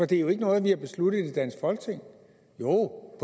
det er jo ikke noget vi har besluttet i det danske folketing jo